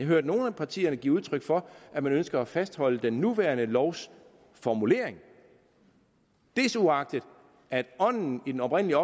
hørt nogle af partierne give udtryk for at man ønsker at fastholde den nuværende lovs formulering desuagtet at ånden i den oprindelige